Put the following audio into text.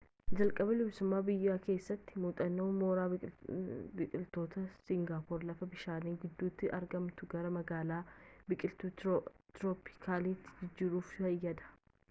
jalqaba bilisummaa biyyaa keessatti muuxannoon mooraa biqiltootaa singaapoor lafa bishaan gidduutti argamtu gara magaalaa biqiltuu tirooppikaalaatti jijjiiruuf fayyada